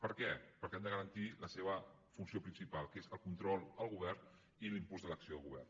per què perquè hem de garantir la seva funció principal que és el control al govern i l’impuls de l’acció de govern